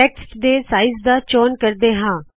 text ਦੇ size ਦਾ ਚੌਨ ਕਰਦੇ ਹਾ